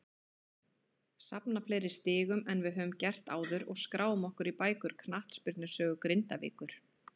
Safna fleiri stigum en við höfum gert áður og skrá okkur í bækur knattspyrnusögu Grindavíkur!